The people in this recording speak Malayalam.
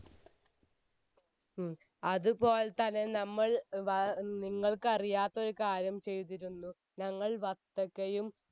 ഉം അത് പോലെ തന്നെ നമ്മൾ ഏർ നിങ്ങൾക്ക് അറിയാത്തൊരു കാര്യം ചെയ്തിരുന്നു ഞങ്ങൾ വത്തക്കയും